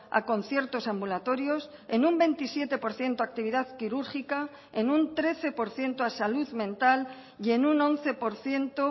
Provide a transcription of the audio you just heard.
a conciertos ambulatorios en un veintisiete por ciento a actividad quirúrgica en un trece por ciento a salud mental y en un once por ciento